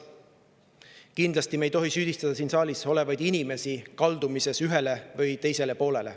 Kindlasti ei tohi me süüdistada siin saalis olevaid inimesi kaldumises ühele või teisele poole.